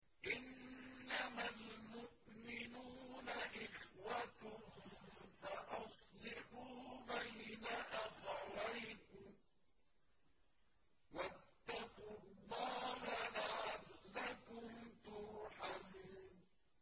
إِنَّمَا الْمُؤْمِنُونَ إِخْوَةٌ فَأَصْلِحُوا بَيْنَ أَخَوَيْكُمْ ۚ وَاتَّقُوا اللَّهَ لَعَلَّكُمْ تُرْحَمُونَ